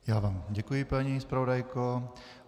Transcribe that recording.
Já vám děkuji, paní zpravodajko.